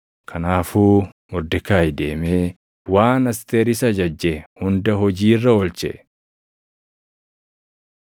Kanaafuu Mordekaayi deemee waan Asteer isa ajajje hunda hojii irra oolche.